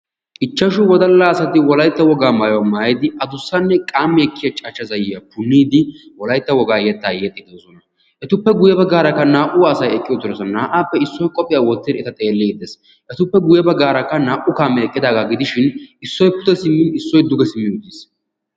ichashshu wodalla asati wolaytta wogaa maayuwaa maayidi addussa qammi ekkiyaa cachcha zayyiya puniidi wolaytta wogaa yetta yexxiidi de'oosona. etuppe guyye baggara naa''u asay eqqi uttidoosna. naa''appe issoy qophiya wotti uttiis, eta guyye baggaaraka qassi naa''u kaame eqqidaaga gidishin issoy pude simmin issoy duge simmi uttiis.